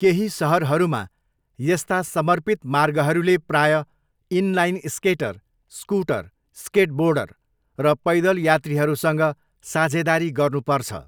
केही सहरहरूमा यस्ता समर्पित मार्गहरूले प्रायः inline skater, scooter, skateboarder र पैदल यात्रीहरूसँग साझेदारी गर्नुपर्छ।